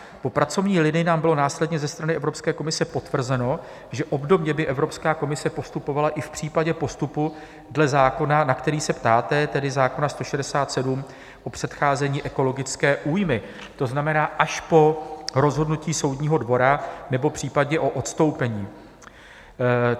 Po pracovní linii nám bylo následně ze strany Evropské komise potvrzeno, že obdobně by Evropská komise postupovala i v případě postupu dle zákona, na který se ptáte, tedy zákona 167, o předcházení ekologické újmě, to znamená až po rozhodnutí soudního dvora nebo případně po odstoupení.